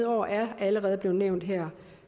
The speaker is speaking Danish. år er allerede blevet nævnt her